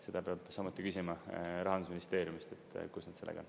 Seda peab samuti küsima Rahandusministeeriumist, et kus nad sellega on.